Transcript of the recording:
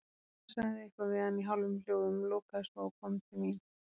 Hann sagði eitthvað við hana í hálfum hljóðum, lokaði svo og kom til mín.